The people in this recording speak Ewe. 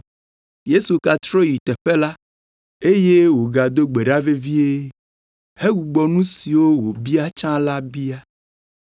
Yesu gatrɔ yi teƒe la, eye wògado gbe ɖa vevie, hegbugbɔ nu siwo wòbia tsã la bia.